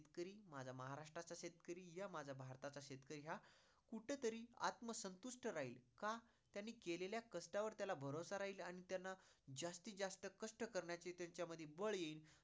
शेतकरी माझा महाराष्ट्राचा शेतकरी घ्या, माझा भारताचा शेतकरी घ्या कुठंतरी आत्मसंतुष्ट राहील. का? त्यांनी केलेल्या कष्टावर त्याला भरोसा राहील आणि त्यांना जास्तीत जास्त कष्ट करण्याची त्यांच्यामध्ये बळ येईल.